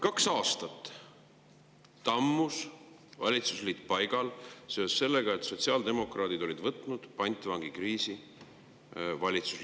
Kaks aastat tammus valitsusliit paigal seoses sellega, et sotsiaaldemokraadid olid valitsusliidu selles küsimuses pantvangi võtnud.